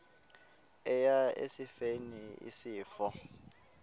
eya esifeni isifo